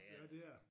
Ja det er det